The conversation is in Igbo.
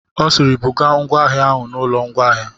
Ọ sịịrị, bugaa ngwa ahịa ahụ n'ụlọ ngwaahịa.